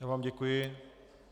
Já vám děkuji.